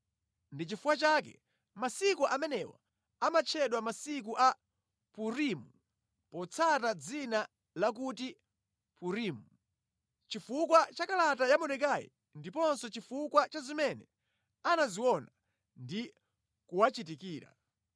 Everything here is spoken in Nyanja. Ndi chifukwa chake masiku amenewa amatchedwa masiku a Purimu potsata dzina lakuti Purimu. Chifukwa cha kalata ya Mordekai ndiponso chifukwa cha zimene anaziona ndi kuwachitikira,